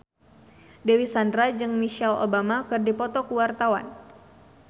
Dewi Sandra jeung Michelle Obama keur dipoto ku wartawan